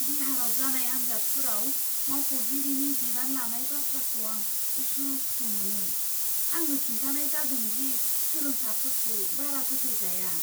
बिहाराव जानाय आन्जादफोराव मावख'गिरिनि बिबान लानाय बाथ्राखौ आं उसुखुथु मोनो। आंनो खिन्थानाय जादों दि सोलोंसाफोरखौ बारा फोथायजाया!